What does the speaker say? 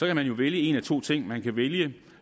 kan man jo vælge en af to ting man kan vælge